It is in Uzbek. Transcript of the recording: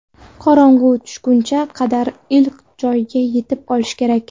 Qorong‘u tushgunga qadar iliq joyga yetib olish kerak.